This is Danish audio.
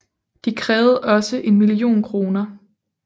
De krævede også en million kroner